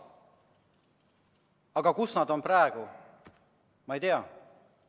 Aga kus on nad praegu?